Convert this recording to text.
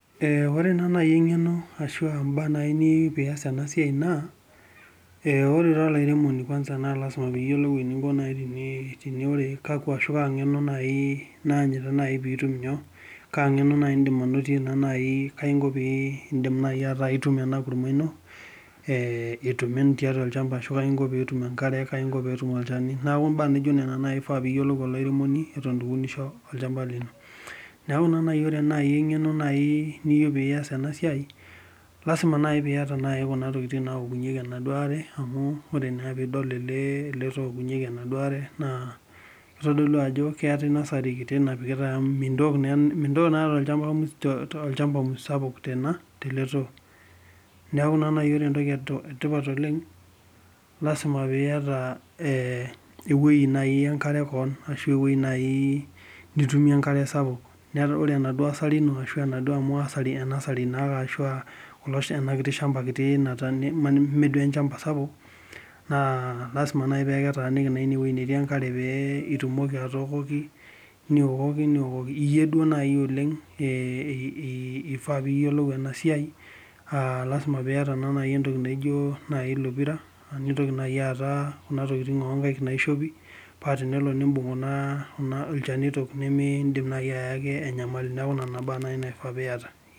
Ore naa naji eng'eno ashu imbaa niyieu pee iyas ena bae naa, ore olairemoni naa lasima pee iyiolou ajo kakua ashu kaa ng'eno naaji idim anotie naa naji. kaji pee idim anoto, ena kurma ino. ashu kaji inko pee itum tiatua enkare. kaji inko pee etum olchani. neeku imbaa naijo Nena ifaa pee iyiolou olairemoni. eton eitu iunisho tolchampa lino. neeku naa naji ore ena. engeno niyieu pee iyas ena siai. lassima naaji peeiyat naaji ntokitin naoki yeki ena are. ore pee idol ele too oukunyeki ena are. naa kitodolu ajo keetae nasari kiti napikiatae amu mintoki naa olchampa sapuk tele too. neeku ore entoki eyily oleng lasima pee iyata ewueji nitumie enkare sapuk. ore enaduoo asari ino ashu ena kiti shampa kiti. ime duoo enchampa sapuk pee itumoki atookoki Niokoki. iyie duo. naajo oleng. lasi.a pee iyata ilo pira. nintoki naaji aata Kuna tokitin oo nkaik naishopi. kuna shanitok limidim naaji ayaki enyamali. neeku lelo shanitok naaji iyata.